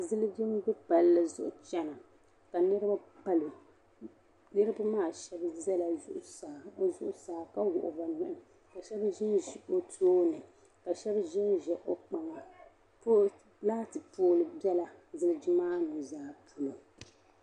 Ziliji. n bɛ palli. zuɣu chana kanirib palɔ niriba maa shab bɛla. zuɣu saa, ka wuɣi bi nuhi. kashab zinzi o tooni ka shab zinzi kpaŋa oi laati poɔli bɛla. ziliji. maa. nu' zaa pɔlo